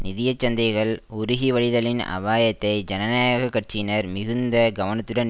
நிதிய சந்தைகள் உருகிவழிதலின் அபாயத்தை ஜனநாயக கட்சியினர் மிகுந்த கவனத்துடன்